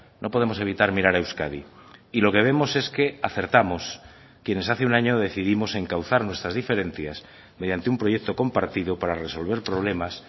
no podemos evitar mirar a euskadi y lo que vemos es que acertamos quienes hace un año decidimos encauzar nuestras diferencias mediante un proyecto compartido para resolver problemas